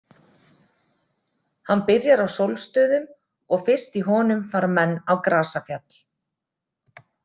Hann byrjar á sólstöðum og fyrst í honum fara menn á grasafjall.